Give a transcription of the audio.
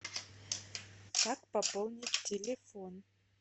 как пополнить телефон